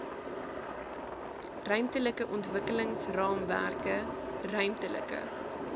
ruimtelike ontwikkelingsraamwerke ruimtelike